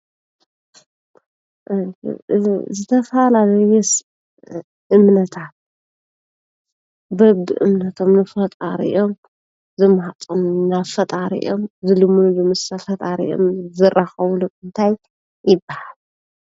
ዝተፈላለዩ እምነታት በብእምነቶም ንፈጣሪኦም ዝማህፀንሉ፣ ናብ ፈጣሪኦም ዝልምንዎ፣ ምስ ፈጣሪኦም ዝራኸብሉ እንታይ ይባሃል?